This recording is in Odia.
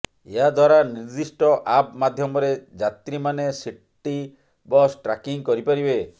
ଏହାଦ୍ୱାରା ନିର୍ଦ୍ଦିଷ୍ଟ ଆପ୍ ମାଧ୍ୟମରେ ଯାତ୍ରୀମାନେ ସିଟି ବସ୍ ଟ୍ରାକିଂ କରିପାରିବେ